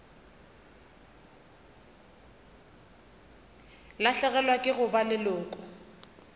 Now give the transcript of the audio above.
lahlegelwa ke go ba leloko